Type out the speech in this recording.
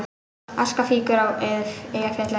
Aska fýkur frá Eyjafjallajökli